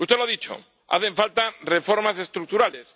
Usted lo ha dicho, hacen falta reformas estructurales.